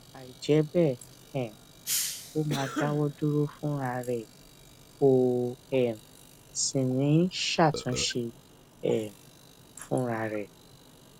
àìjẹ́ bẹ́ẹ̀ um ó máa dáwọ́ dúró fúna rẹ̀ kò um sì ní ṣàtúnṣe um fúnra rẹ̀